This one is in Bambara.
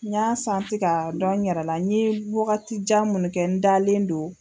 N ɲan ka dɔn n yɛrɛla n ye waagati jan mun kɛ n dalen don.